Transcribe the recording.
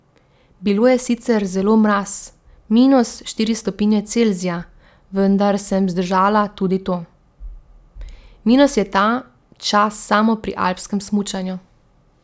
Bilo je sicer zelo mraz, minus štiri stopinje Celzija, vendar sem zdržala tudi to.